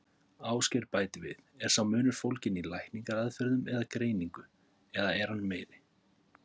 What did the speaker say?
Ásgeir bætir við: Er sá munur fólginn í lækningaraðferðum eða greiningu, eða er hann meiri?